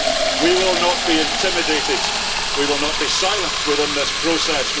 We will not be intimidated. We will not be silent within this process.